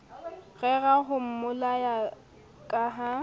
rera ho mmolaya ka ha